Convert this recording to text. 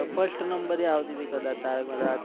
first નંબરે આવતી તી કદાચ તારક મહેતા